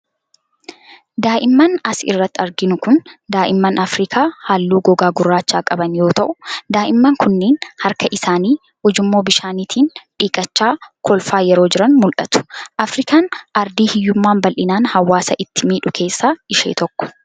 Daa'imman as irratti arginu kun, daa'imman afriikaa haalluu gogaa gurraacha qaban yoo ta'u, daa'imman kunneen harka isaanii ujummoo bishaanitiin dhiqachaa kolfaa yeroo jiran mul'atu. Afriikaan aardii hiyyummaan bal'inaan hawaasa itti miidhu keessaa ishee tokko.